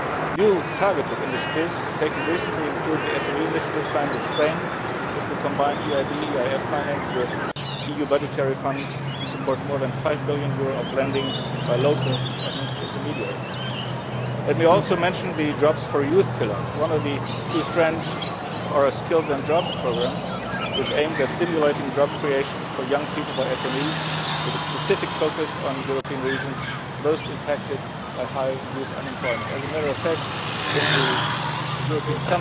New, targeted initiatives taken recently include the SME Initiative' signed with Spain, which will combine EIB EIF finance with EU budgetary funds to support more than EUR five billion of lending by local financial intermediaries. Let me also mention the Jobs for Youth' pillar, one of the two strands of our Skills and Jobs' programme, which aims at stimulating job creation for young people by SMEs, with a specific focus on European regions most impacted by high youth unemployment. As a matter of fact, at the informal European